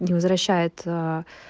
возвращает